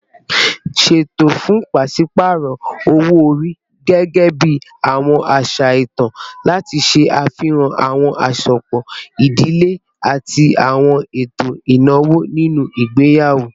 Ṣeto fun paṣipaarọ owo-ori, gẹgẹbi awọn aṣa itan, lati ṣe afihan awọn asopọ idile ati awọn eto inawo ninu igbeyawo